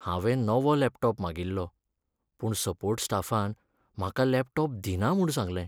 हांवें नवो लॅपटॉप मागिल्लो पूण सपोर्ट स्टाफान म्हाका लॅपटॉप दिना म्हूण सांगलें.